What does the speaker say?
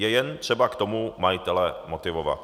Jen je třeba k tomu majitele motivovat.